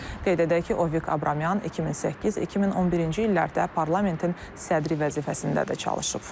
Qeyd edək ki, Ovik Abramyan 2008-2011-ci illərdə parlamentin sədri vəzifəsində də çalışıb.